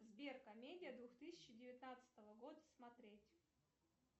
сбер комедия две тысячи девятнадцатого года смотреть